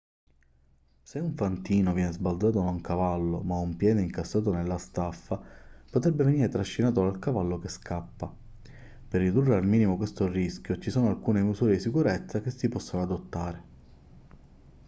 se un fantino viene sbalzato da un cavallo ma ha un piede incastrato nella staffa potrebbe venire trascinato dal cavallo che scappa per ridurre al minimo questo rischio ci sono alcune misure di sicurezza che si possono adottare